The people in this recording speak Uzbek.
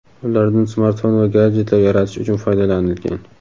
ulardan smartfon va gadjetlar yaratish uchun foydalanilgan.